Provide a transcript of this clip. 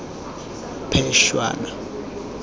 phešwana